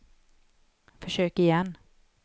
försök igen